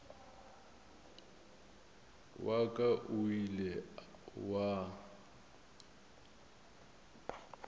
wa ka o ile wa